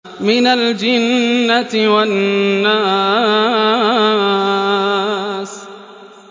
مِنَ الْجِنَّةِ وَالنَّاسِ